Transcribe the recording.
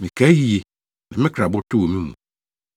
Mekae yiye, na me kra abotow wɔ me mu.